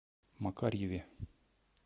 макарьеве